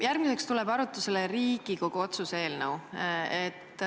Järgmiseks tuleb arutlusele Riigikogu otsuse eelnõu.